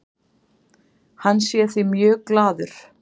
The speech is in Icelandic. Hann sé því mjög glaður.